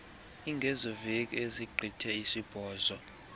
ingezoveki ezigqithe isibhozo